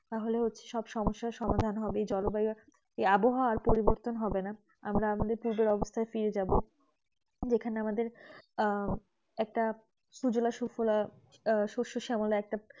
তাহলে সবসমস্যা সমাধান হবে জলবায়ু আবহাওয়া পরিবতন হবেনা আমরা আগের অবস্থায় ফিরে যাবো এই খানে আমাদের একটি আহ একটা সুজলা সুফলা আহ শষ্য শ্যামলা